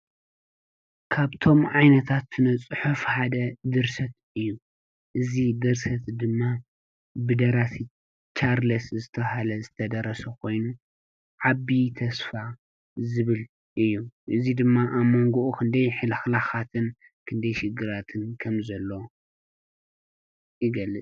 ካብቶም ዓይነታትነ ስነ-ጽሑፍ ሓደ ድርሰት እዩ እዙ ድርሰት ድማ ብደራሲ ቻርለስ ዝተብሃለ ዝተደረሰ ኾይኑ ዓቢዪ ተስፋ ዝብል እዩ እዙይ ድማ ኣመንጎኡ ኽንደይ ህልኽላኻትን ክንደይሽግራትን ከም ዘሎ ይገልፅ።